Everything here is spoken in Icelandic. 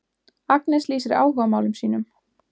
Agnes lýsir áhugamálum sínum.